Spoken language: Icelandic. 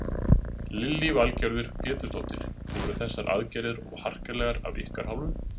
Lillý Valgerður Pétursdóttir: Voru þessar aðgerðir of harkalegar af ykkar hálfu?